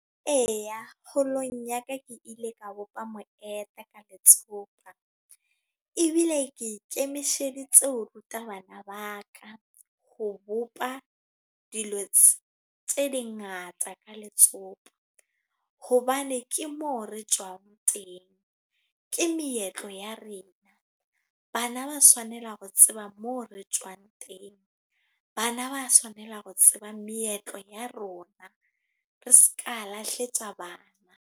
Eya, kgolong ya ka ke ile ka bopa ka letsopa. Ebile ke ikemiseditse ho ruta bana ba ka. Ho bopa dilo tse di ngata ka letsopa. Hobane ke moo re tswang teng. Ke meetlo ya rena. Bana ba tshwanela ho tseba moo re tswang teng. Bana ba tshwanela ho tseba meetlo ya rona. Re seka lahletsa bana.